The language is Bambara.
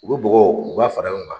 U be bɔgɔ u b'a fara ɲɔgɔn kan